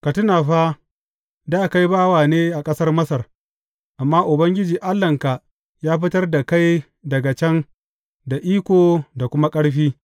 Ka tuna fa, dā kai bawa ne a ƙasar Masar amma Ubangiji Allahnka ya fitar da kai daga can da iko da kuma ƙarfi.